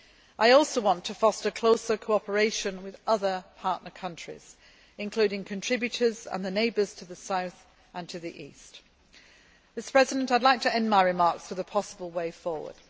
I also want to foster closer cooperation with other partner countries, including contributors and the neighbours to the south and to the east. I would like to end my remarks with the possible way forward.